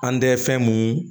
An tɛ fɛn mun